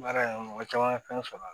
Baara in mɔgɔ caman ka fɛn sɔrɔ